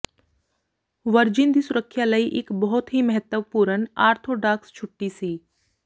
virgin ਦੀ ਸੁਰੱਖਿਆ ਲਈ ਇੱਕ ਬਹੁਤ ਹੀ ਮਹੱਤਵਪੂਰਨ ਆਰਥੋਡਾਕਸ ਛੁੱਟੀ ਸੀ